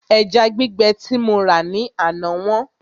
Ẹja gbígbẹ tí mo rà ní àná wọ́n